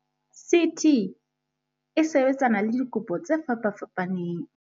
"CT e sebetsana le dikopo tse fapafapaneng."